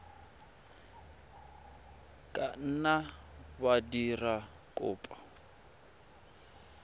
ka nna wa dira kopo